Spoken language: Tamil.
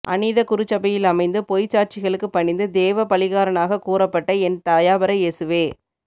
அந்நீத குருச்சபையிலமைந்து பொய்ச் சாட்சிகளுக்குப் பணிந்து தேவ பழிகாரணாகக் கூறப்பட்ட என் தயாபர இயேசுவே